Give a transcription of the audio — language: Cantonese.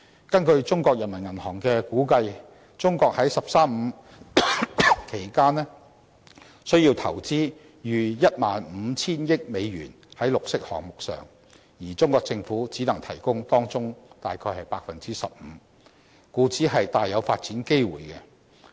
根據中國人民銀行的估計，中國在"十三五"期間需要投資逾 10,500 億美元在綠色項目上，而中國政府只能提供當中大約 15%， 故此提供了大量發展機會。